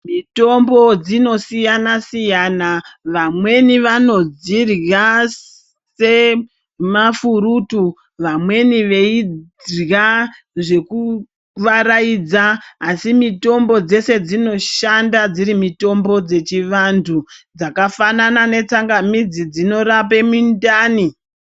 Mitombo dzinosiyana-siyana vamweni vanodzirya semafurutu. Vamweni veirya zvekuvaraidza asi mitombo dzeshe dzinoshanda dziri mitombo dzechivantu dzakafanana netsangamidzi dzinorape mindani.